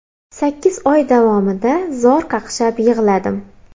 Sakkiz oy davomida zor qaqshab yig‘ladim.